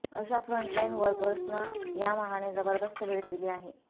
अशा फ्रंटलाइन वर्कर्संना यामाहाने जबरदस्त भेट देली आहे